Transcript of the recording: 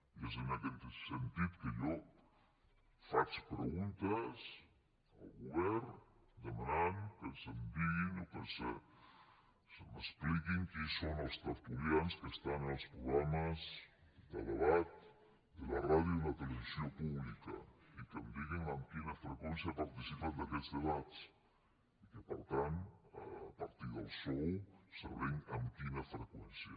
i és en aquest sentit que jo faig preguntes al govern demanant que se’m digui o que se m’expliqui quins són els tertulians que estan en els programes de debat de la ràdio i la televisió públiques i que em diguin amb quina freqüència participen d’aquests debats i que per tant a partir del sou sabrem amb quina freqüència